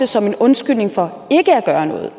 som en undskyldning for ikke at gøre noget